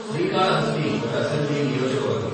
శ్రీకాళహస్తి ఒక అసెంబ్లీ నియోజక వర్గం.